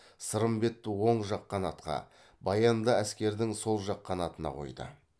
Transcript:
сырымбетті оң жақ қанатқа баянды әскердің сол жақ қанатына қойды